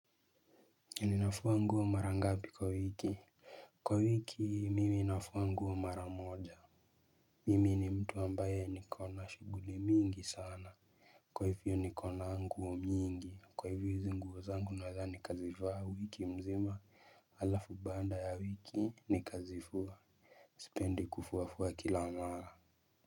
Ninafua nguo mara ngapi kwa wiki. Kwa wiki mimi nafua nguo mara moja. Mimi ni mtu ambaye niko na shughuli mingi sana. Kwa hivyo niko na nguo mingi kwa hivyo hizi nguo zangu naeza nikazivaa wiki mzima. Halafu baanmda ya wiki nikazifua. Sipendi kufuafua kila mara.